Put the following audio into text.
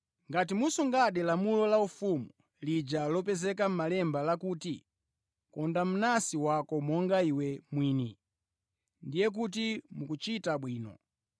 Ngati musungadi lamulo laufumu lija lopezeka mʼMalemba lakuti, “Konda mnansi wako monga iwe mwini,” ndiye kuti mukuchita bwino.